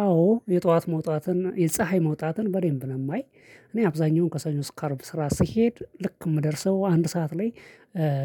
አዎ የጧት መውጣትን የፀሀይ መውጣትን በደንብ ነው። ማይ እኔ አብዛኛውን ከሰኞ እስከ አርብ ስራ ስሄድ ልክ የምደርሰው አንድ ሰዓት ላይ።